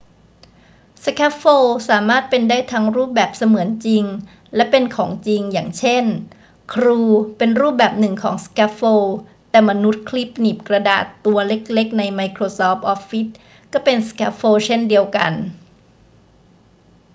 สแคฟโฟลสามารถเป็นได้ทั้งรูปแบบเสมือนจริงและเป็นของจริง อย่างเช่น ครูเป็นรูปแบบหนึ่งของสแคฟโฟล แต่มนุษย์คลิปหนีบกระดาษตัวเล็ก ๆ ในไมโครซอฟต์ออฟฟิศก็เป็นสแคฟโฟลเช่นเดียวกัน